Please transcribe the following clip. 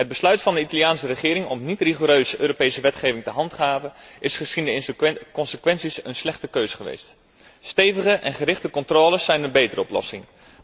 Het besluit van de Italiaanse regering om niet rigoureus Europese wetgeving te handhaven is gezien de consequenties een slechte keuze geweest. Stevige en gerichte controles zijn een betere oplossing.